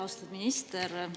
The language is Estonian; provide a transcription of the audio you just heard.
Austatud minister!